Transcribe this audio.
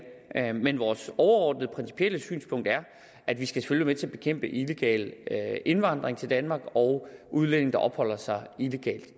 men vores overordnede principielle synspunkt er at vi selvfølgelig til at bekæmpe illegal indvandring til danmark og at udlændinge opholder sig illegalt